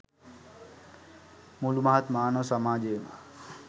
මුළු මහත් මානව සමාජයම